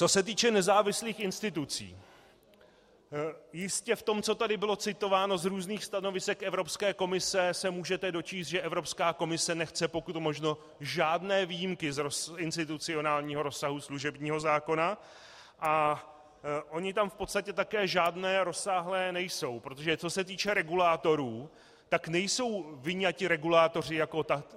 Co se týče nezávislých institucí, jistě v tom, co tady bylo citováno z různých stanovisek Evropské komise, se můžete dočíst, že Evropská komise nechce pokud možno žádné výjimky z institucionálního rozsahu služebního zákona, a ony tam v podstatě také žádné rozsáhlé nejsou, protože co se týče regulátorů, tak nejsou vyňati regulátoři jako tací.